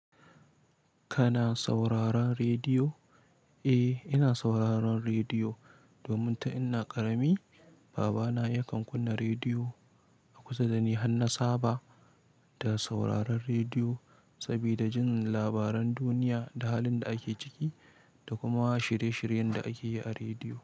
Kana sauraron rediyo? Eh, ina sauraron rediyo. Domin tin ina ƙarami, babana yakan kunna rediyo a kusa da ni. Hanna saba da sauraron rediyo. Sabida jin labaran duniya da halin da ake ciki. Da kuma shirye-shiryen da ake yi a rediyo.